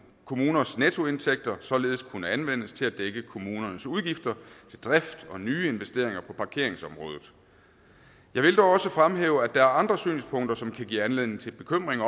kommuners nettoindtægter således kunne anvendes til at dække kommunernes udgifter til drift og nye investeringer på parkeringsområdet jeg vil dog også fremhæve at der er andre synspunkter som kan give anledning til bekymring